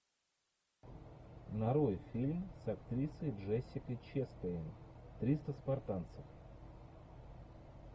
нарой фильм с актрисой джессикой честейн триста спартанцев